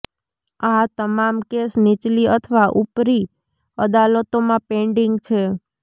આ તમામ કેસ નીચલી અથવા ઉપરી અદાલતોમાં પેન્ડિંગ છે